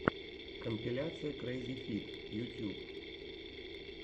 компиляция крэйззифид ютьюб